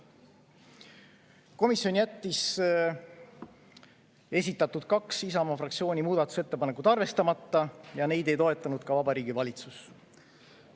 Komisjon jättis kaks Isamaa fraktsiooni esitatud muudatusettepanekut arvestamata ja neid ei toetanud ka Vabariigi Valitsus.